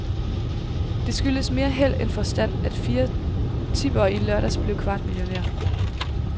Det skyldtes mere held end forstand, at fire tippere i lørdags blev kvartmillionærer.